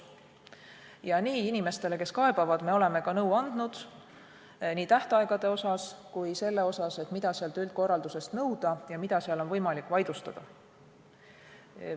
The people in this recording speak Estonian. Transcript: Nii oleme ka inimestele, kes kaebavad, nõu andnud nii tähtaegade kui ka selle kohta, mida üldkorralduselt saab nõuda ja mida seal on võimalik vaidlustada.